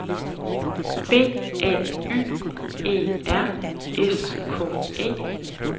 B A Y E R S K E